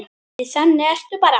Því þannig ertu bara.